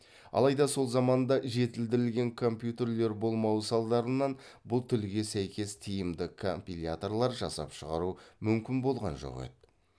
алайда сол заманда жетілдірілген компьютерлер болмауы салдарынан бұл тілге сәйкес тиімді компиляторлар жасап шығару мүмкін болған жоқ еді